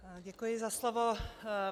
Děkuji za slovo.